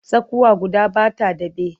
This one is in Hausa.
Tsakuwa guda ba ta daɓe.